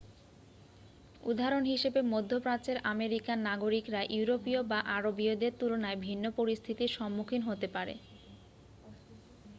উদাহরণ হিসাবে মধ্য প্রাচ্যের আমেরিকান নাগরিকরা ইউরোপীয় বা আরবীয়দের তুলনায় ভিন্ন পরিস্থিতির সম্মুখীন হতে পারে